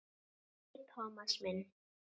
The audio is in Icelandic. Nei, Thomas minn.